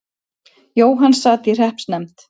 Jóhann sat í hreppsnefnd.